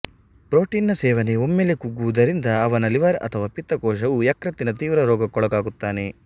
protein ನ ಸೇವನೆ ಒಮ್ಮೆಲೆ ಕುಗ್ಗುವುದರಿಂದ ಅವನ ಲಿವರ್ ಅಥವಾ ಪಿತ್ತ ಕೋಶವು ಯಕೃತ್ತಿನ ತೀವ್ರ ರೋಗಕ್ಕೊಳಗಾಗುತ್ತಾನೆ